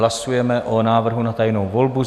Hlasujeme o návrhu na tajnou volbu.